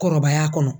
Kɔrɔbaya kɔnɔ